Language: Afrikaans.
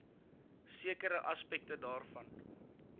sekere aspekte daarvan